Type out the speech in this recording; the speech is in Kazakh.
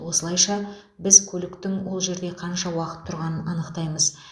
осылайша біз көліктің ол жерде қанша уақыт тұрғанын анықтаймыз